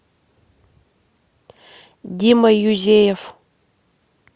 дима юзеев